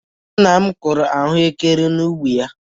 Nna m kụrụ ahụekere n'ubi ya.